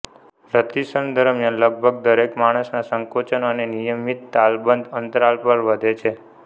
રતિક્ષણ દરમ્યાન લગભગ દરેક માણસના સંકોચન એ નિયમિત તાલબદ્ધ અંતરાલ પર વધે છે